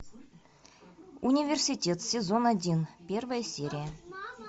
университет сезон один первая серия